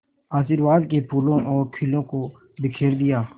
आशीर्वाद के फूलों और खीलों को बिखेर दिया